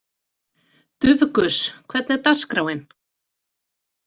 Dufgus, hvernig er dagskráin?